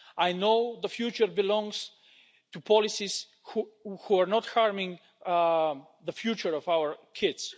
I know the future belongs to policies, which are not harming the future of our kids.